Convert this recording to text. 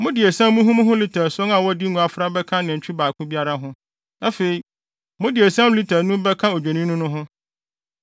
Mode esiam muhumuhu lita ason a wɔde ngo afra bɛka nantwi baako biara ho. Afei, mode esiam lita anum bɛka odwennini no ho,